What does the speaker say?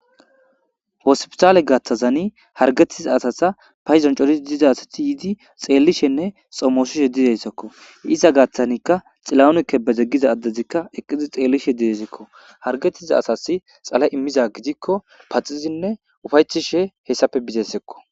Hospitale gaththazanii harggetiza asaza payddon coriddi diza asati yiddi xellishenne xoomosishshe dizayssakko iza gaththanikka Xilahun Kebede giza addezikka eeqiddi xellishe de'esikko harggtiza asasi xaale iimmiza gidikkopaxidinne uufayetishe hessappe bizayssakko